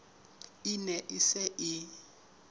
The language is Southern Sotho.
e ne e se e